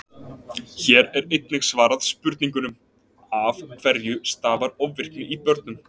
Hér er einnig svarað spurningunum: Af hverju stafar ofvirkni í börnum?